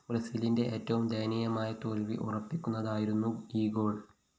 ബ്രസീലിന്റെ ഏറ്റവും ദയനീയമായ തോല്‍വി ഉറപ്പിക്കുന്നതായിരുന്നു ഈ ഗോൾ